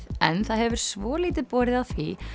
en það hefur svolítið borið á því